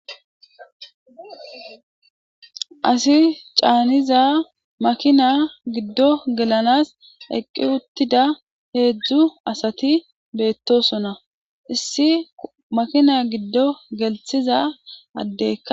asi caaniza makina giddo gelanas eqqi uttida heedzdzu asati beettosona issi makina giddo gelthiza addekka